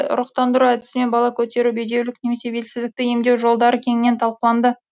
ұрықтандыру әдісімен бала көтеру бедеулік пен белсіздікті емдеу жолдары кеңінен талқыланды